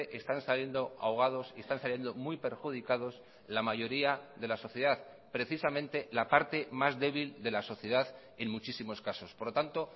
están saliendo ahogados y están saliendo muy perjudicados la mayoría de la sociedad precisamente la parte más débil de la sociedad en muchísimos casos por lo tanto